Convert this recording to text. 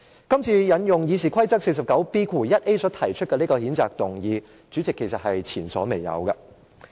今次引用《議事規則》第 49B 條所提出的這項譴責議案，主席，是前所未有的。